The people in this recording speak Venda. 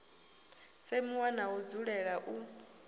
semiwa na u dzulela u